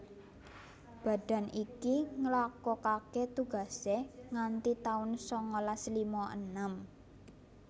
Badan iki nglakokaké tugasé nganti taun sangalas lima enem